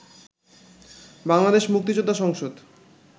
বাংলাদেশ মুক্তিযোদ্ধা সংসদ